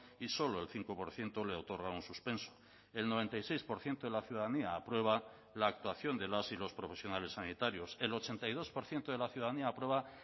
y solo el cinco por ciento le otorga un suspenso el noventa y seis por ciento de la ciudadanía aprueba la actuación de las y los profesionales sanitarios el ochenta y dos por ciento de la ciudadanía aprueba